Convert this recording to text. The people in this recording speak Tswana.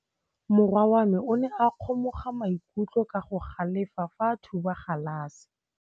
Morwa wa me o ne a kgomoga maikutlo ka go galefa fa a thuba galase.